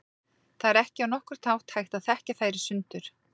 Það er ekki á nokkurn hátt hægt að þekkja þær í sundur.